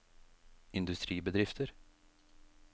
industribedrifter